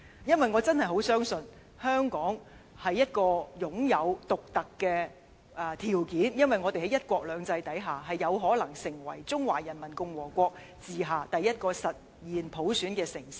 因為我真的十分相信，香港擁有獨特條件，我們在"一國兩制"之下，有可能成為中華人民共和國治下第一個實現普選的中國城市。